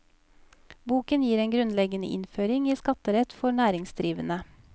Boken gir en grunnleggende innføring i skatterett for næringsdrivende.